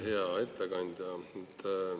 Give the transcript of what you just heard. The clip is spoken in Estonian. Hea ettekandja!